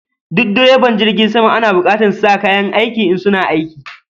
Duk direban jirgin sama ana bukatan su sa kayan aiki, in suna aiki